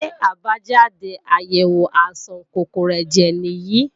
Ṣé àbájáde àyèwò àìsàn kòkòrò ẹ̀jẹ̀ nìyí?